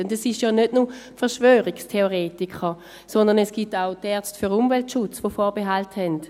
Es sind ja nicht nur Verschwörungstheoretiker, sondern es gibt auch die Ärzte für Umweltschutz, die Vorbehalte haben.